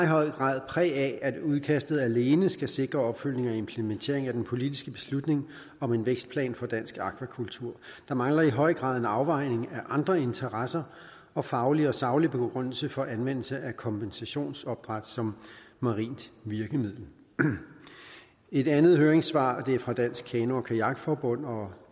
høj grad præg af at udkastet alene skal sikre opfølgning og implementering af den politiske beslutning om en vækstplan for dansk akvakultur der mangler i høj grad en afvejning af andre interesser og faglig og saglig begrundelse for anvendelse af kompensationsopdræt som marint virkemiddel et andet høringssvar fra dansk kano og kajak forbund og